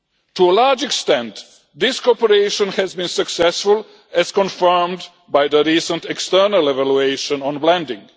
To a large extent, this cooperation has been successful, as confirmed by the recent external evaluation on lending.